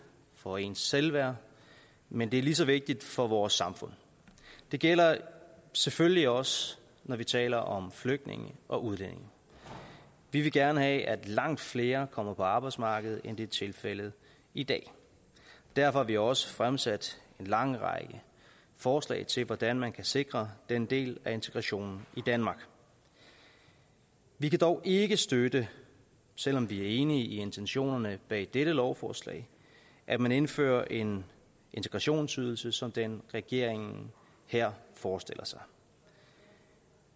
for ens selvværd men det er lige så vigtigt for vores samfund det gælder selvfølgelig også når vi taler om flygtninge og udlændinge vi vil gerne have at langt flere kommer på arbejdsmarkedet end det er tilfældet i dag derfor har vi også fremsat en lang række forslag til hvordan man kan sikre den del af integrationen i danmark vi kan dog ikke støtte selv om vi er enige i intentionerne bag dette lovforslag at man indfører en integrationsydelse som den regeringen her forestiller sig